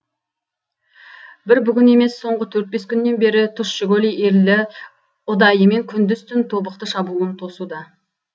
бір бүгін емес соңғы төрт бес күннен бері тұщыкөл елі ұдайымен күндіз түн тобықты шабуылын тосуда